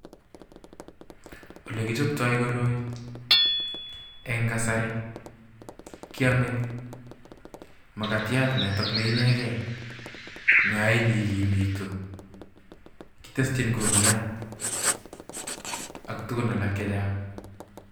Ole kichobtoi koroi eng' kasari kiyome makatiat notok ne inegei ne ain igimitu. Kiteshin kumyat ak tugun alak chechang'.